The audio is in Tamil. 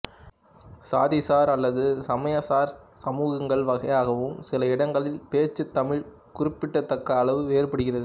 சாதிசார் அல்லது சமயம் சார் சமூகங்கள் வகையாகவும் சில இடங்களில் பேச்சுத் தமிழ் குறிப்பிடத்தக்க அளவு வேறுபடுகிறது